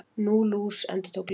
Nú, lús. endurtók Lilla.